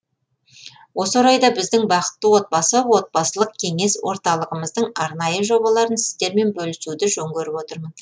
осы орайда біздің бақытты отбасы отбасылық кеңес орталығымыздың арнайы жобаларын сіздермен бөлісуді жөн көріп отырмын